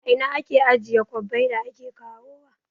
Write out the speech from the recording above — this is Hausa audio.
A ina ake ajiye kwabbai da ake kawo wa?